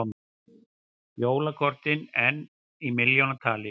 Jólakortin enn í milljónatali